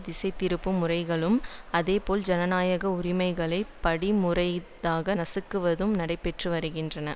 திசைதிருப்பும் முறைகளும் அதேபோல் ஜனநாயக உரிமைகளை படிமுறைதாக நசுக்குவதும் நடைபெற்று வருகின்றன